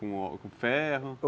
Com ferro?